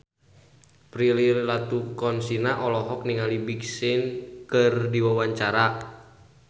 Prilly Latuconsina olohok ningali Big Sean keur diwawancara